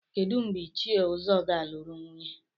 Kedu mgbe Ichie Uzo ga-alụrụ nwunye?